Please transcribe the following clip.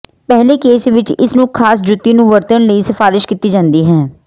ਪਹਿਲੇ ਕੇਸ ਵਿੱਚ ਇਸ ਨੂੰ ਖਾਸ ਜੁੱਤੀ ਨੂੰ ਵਰਤਣ ਲਈ ਸਿਫਾਰਸ਼ ਕੀਤੀ ਜਾਦੀ ਹੈ